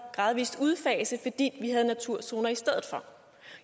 gradvis udfase fordi vi havde naturzoner i stedet for